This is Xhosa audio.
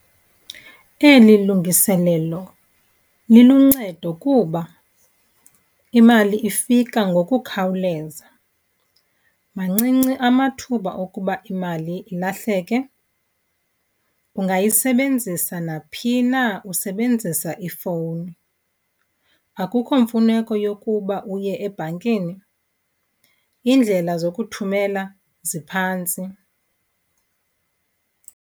Eli lungiselelo liluncedo kuba imali ifika ngokukhawuleza, mancinci amathuba okuba imali ilahleke. Ungayisebenzisa naphi na usebenzisa ifowuni, akukho mfuneko yokuba uye ebhankini. Iindlela zokuthumela ziphantsi.